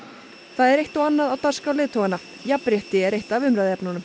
það er eitt og annað á dagskrá leiðtoganna jafnrétti er eitt af umræðuefnunum